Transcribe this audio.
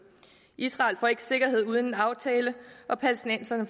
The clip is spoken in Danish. israel får ikke sikkerhed uden en aftale og palæstinenserne